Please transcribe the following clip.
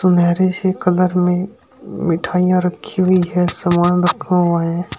सुनहरे से कलर में मिठाइयां रखी हुई हैं सामान रखा हुआ है।